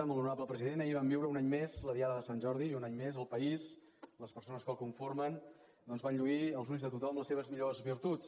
molt honorable president ahir vam viure un any més la diada de sant jordi i un any més el país les persones que el conformen doncs van lluir als ulls de tothom les seves millors virtuts